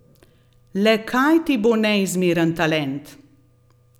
Le kaj ti bo neizmeren talent!